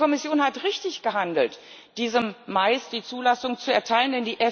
Die Kommission hat richtig gehandelt, diesem Mais die Zulassung zu erteilen.